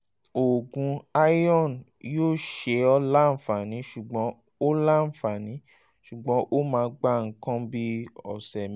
oògùn iron yóò ṣe ọ́ láǹfààní ṣùgbọ́n ó láǹfààní ṣùgbọ́n ó máa gba nǹkan bíi ọ̀sẹ̀